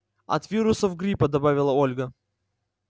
от вирусов гриппа добавила ольга